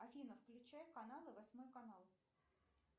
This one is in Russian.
афина включай каналы восьмой канал